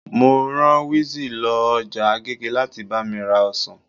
Mo rá wizzy lọ ọjà agége láti bá mi ra ọsàn